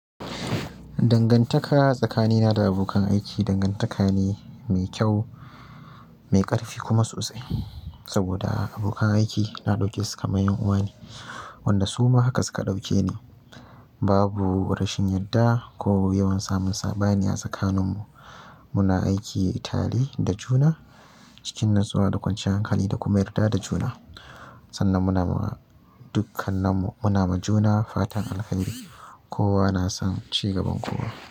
Dangantaka tsakanina da abokan aiki dangantaka ne mai kyau, mai ƙarfi kuma sosai. Saboda abokan aiki na ɗauke su kamar 'yan uwa ne wanda suma haka suka ɗauke ni. Babu rashin yadda ko yawan samun saɓani a tsakaninmu. Muna aiki tare da juna cikin natsuwa da kwanciyar hankali da kuma yarda da juna. Sannan muna ma dukkananmu, muna ma juna faratan alkhairi. Kowa na son cigaban kowa.